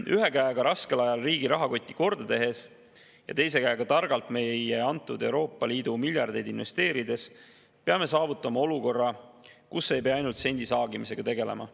Ühe käega raskel ajal riigi rahakotti korda tehes ja teise käega meile antud Euroopa Liidu miljardeid targalt investeerides peame saavutama olukorra, kus ei pea ainult sendisaagimisega tegelema.